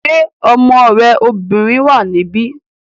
Ṣé ọmọ rẹ obìnrin wà níbí?